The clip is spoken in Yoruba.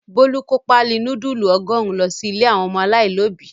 Bólú kó páálí núdúlù ọgọ́rùn-ún lọ sí ilé àwọn ọmọ aláìlóòbí.